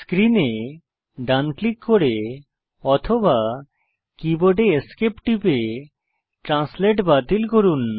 screen এ ডান click করে অথবা কীবোর্ডে Esc টিপে ট্রান্সলেট বাতিল করুন